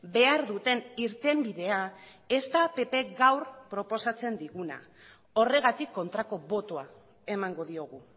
behar duten irtenbidea ez da ppk gaur proposatzen diguna horregatik kontrako botoa emango diogu